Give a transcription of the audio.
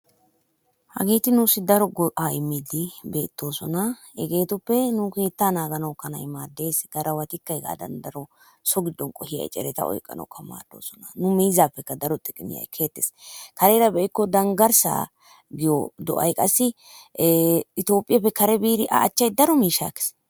Hagetti nussi daro go'aa immidi betosonna, hegetuppe nu kettaa naganawuu kanay maddees, garawattikka hegadan gidon qohiyaa eccerettaa oyqanawukkaa madosonna.nu mizappekka daro xiqimmiyaa ekkettees, karerraa be'ikko dangarssaa giyo do'ay qaassi ethophiyappe karee biddi a achay daroo mishaa ekees.